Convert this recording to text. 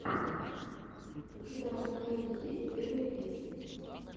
у тебя в каталоге есть первые песни